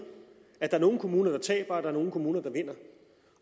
at der er nogle kommuner der taber og at der er nogle kommuner der vinder